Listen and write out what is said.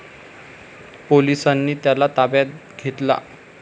पोलिसांनी त्याला ताब्यात घेतला.